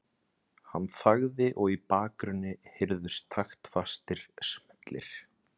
Hann þagði og í bakgrunni heyrðust taktfastir smellir.